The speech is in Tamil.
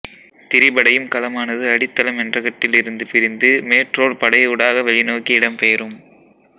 திரிபடையும் கலமானது அடித்தள மென்றகட்டில் இருந்து பிரிந்து மேற்றோல் படையூடாக வெளிநோக்கி இடம்பெயரும்